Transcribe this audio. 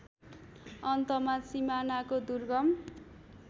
अन्तमा सिमानाको दुर्गम